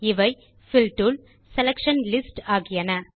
இவை fill tool selection lists ஆகியன